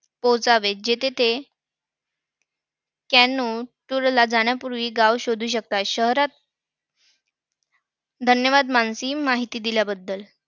पोहोचावेत. जेथे ते जाण्यापूर्वी गाव शोधू शकतात. शहरां~ धन्यवाद मानसी! माहिती दिल्याबद्दल.